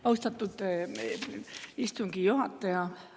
Austatud istungi juhataja!